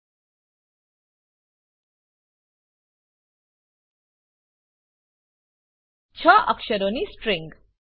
૬ અક્ષરોની સ્ટ્રીંગ